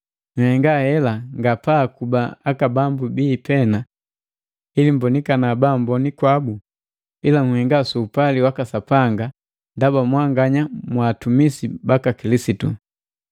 Nhenga hela nga pa akuba aka bambu bii pena ili mmbonikana baamboni kwabu, ila nhenga su upali waka Sapanga ndaba mwanganya mwaatumisi baka Kilisitu.